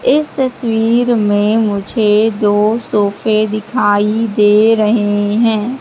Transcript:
इस तस्वीर में मुझे दो सोफे दिखाई दे रहे हैं।